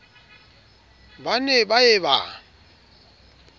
ba ne ba ye ba